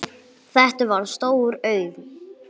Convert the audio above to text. Þetta var stór auðn.